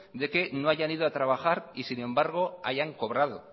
de que no hayan ido a trabajar y sin embargo hayan cobrado